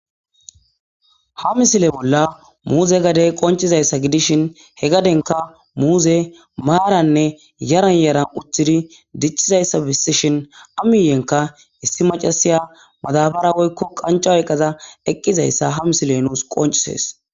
Ha misile bolla muuze gadey qonccishin ha gadeza bolla muuzeykka maaraninne yaran yaran diccizayssa bessishin issi maccassiya madaabara qancca oykka eqqidayssa besees.